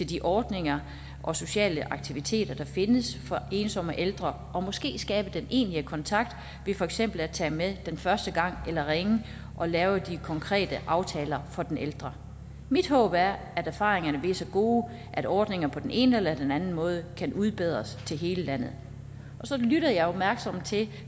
de ordninger og sociale aktiviteter der findes for ensomme ældre og måske skabe den egentlige kontakt ved for eksempel at tage med den første gang eller ringe og lave de konkrete aftaler for den ældre mit håb er at erfaringerne bliver så gode at ordningerne på den ene eller den anden måde kan udbredes til hele landet så lyttede jeg jo opmærksomt til